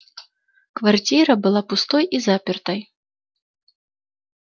квартира была пустой и запертой